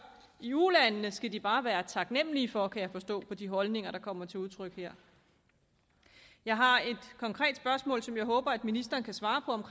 i ulandene skal de bare være taknemmelige for kan jeg forstå på de holdninger der kommer til udtryk her jeg har et konkret spørgsmål som jeg håber ministeren kan svare på